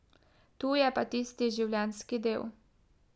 Tu je pa tisti življenjski del.